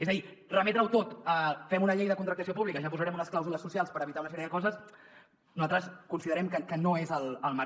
és a dir remetre ho tot a fem una llei de contractació pública ja hi posarem unes clàusules socials per evitar una sèrie de coses nosaltres considerem que no és el marc